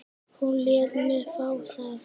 Hún lét mig fá það.